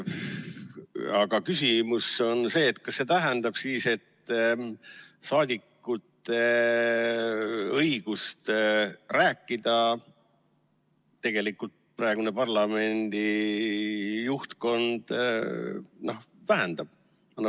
Aga küsimus on see: kas see tähendab seda, et praegune parlamendi juhtkond tegelikult vähendab saadikute õigust rääkida?